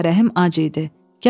Ağarəhim acı idi.